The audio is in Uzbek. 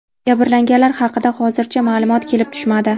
Jabrlanganlar haqida hozircha ma’lumot kelib tushmadi.